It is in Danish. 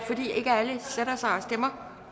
jeg